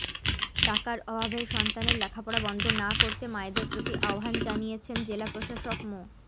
টাকার অভাবে সন্তানের পড়ালেখা বন্ধ না করতে মায়েদের প্রতি আহ্বান জানিয়েছেন জেলা প্রশাসক মো